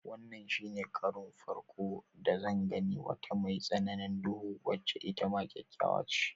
Wannan shine farko da zan gani wata mai tsananin duhu wacce itama kyakkyawa ce.